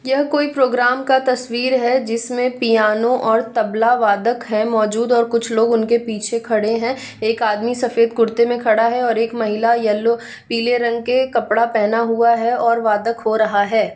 यह कोई प्रोग्राम का तस्वीर है जिसमें पियानो और तबला वादक है मौजूद और कुछ लोग उनके पीछे खड़े हैं एक आदमी सफेद कुर्ते में खड़ा है और एक महिला येलो पीले रंग के कपड़ा पहना हुआ है और वादक हो रहा है।